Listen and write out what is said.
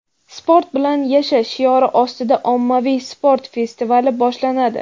sport bilan yasha shiori ostida ommaviy sport festivali boshlanadi.